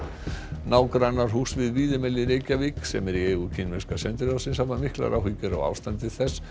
nágrannar húss við Víðimel í Reykjavík sem er í eigu kínverska sendiráðsins hafa miklar áhyggjur af ástandi þess